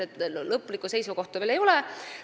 Lõplikku seisukohta veel ei ole.